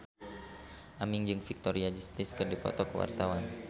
Aming jeung Victoria Justice keur dipoto ku wartawan